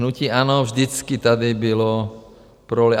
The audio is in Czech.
Hnutí ANO vždycky tady bylo pro lid.